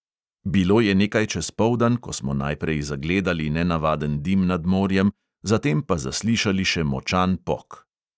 Bilo je nekaj čez poldan, ko smo najprej zagledali nenavaden dim nad morjem, zatem pa zaslišali še močan pok.